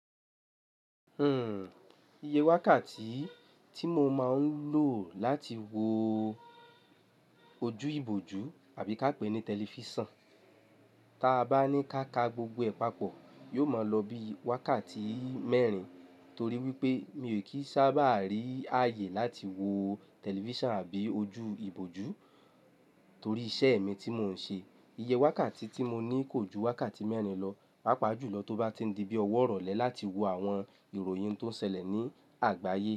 Hmm, iye wákàtí tí mo máa ń lò láti wo ojú ìbòjú àbí ká pè ní tẹlifísàn, tí a bá ní ká ka gbogbo ẹ̀ papọ̀, yóò máa lọ bí i wákàtí mẹ́rin. Torí wípé mi ò kí sábà rí ààyè láti wo tẹlifísàn àbí ojú ìbòjú torí iṣẹ́ mi tí mò ń ṣe. Iye wákàtí tí mo ní kò ju wákàtí mẹ́rin lọ, pàápàá jùlọ tó bá ti di bí ọwọ́ rọ̀lẹ́ láti wo àwọn ìròyìn tó ń ṣẹlẹ̀ ní àgbáyé.